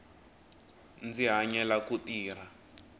ndzi hanyela ku tirha